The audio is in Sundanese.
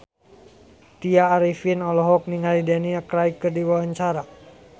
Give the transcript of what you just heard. Tya Arifin olohok ningali Daniel Craig keur diwawancara